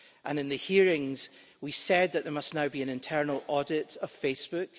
In the hearings we said that there must now be an internal audit of Facebook.